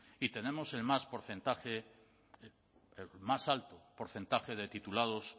y tenemos el más porcentaje el más alto porcentaje de titulados